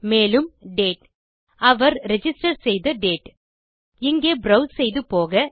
மேலும் டேட் அவர் ரிஜிஸ்டர் செய்த டேட் இங்கே ப்ரோவ்ஸ் செய்து போக